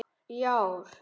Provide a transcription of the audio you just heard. í ár.